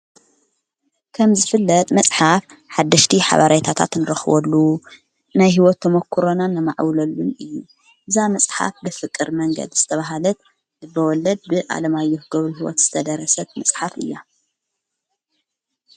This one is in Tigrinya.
ከምዝፍለጥ መጽሓፍ ሓድሽቲ ሓባርይታታ ትንረኽወሉ ናይ ሕይወት ቶመኲሮናን ነማዕውለሉን እዩ እዛ መጽሓፍ ብፍቕር መንገድ ዝተብሃለት እበወለድ ብዓለማ ኣዮሕገብሩ ሕይወት ዝተደረሰት መጽሓፍ እያ።